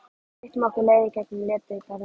Við styttum okkur leið í gegn um Letigarðinn.